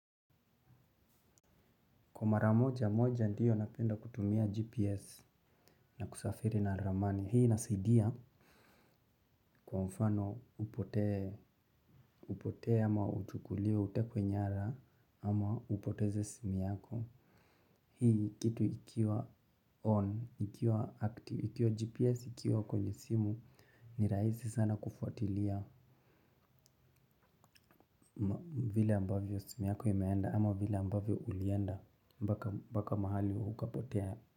Kwa mara moja moja ndiyo napenda kutumia GPS na kusafiri na ramani. Hii inasaidi kwa mfano upotee upotee ama uchukuliwe utekwe nyara ama upoteze simu yako hii kitu ikiwa on ikiwa GPS ikiwa kwenye simu ni rahisi sana kufuatilia. Vile ambavyo simu yako imeenda ama vile ambavyo ulienda mpaka mahali ukapotea.